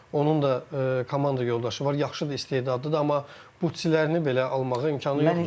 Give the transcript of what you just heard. Onun da komanda yoldaşı var, yaxşı da istedadlıdır, amma butsilərini belə almağa imkanı yoxdur.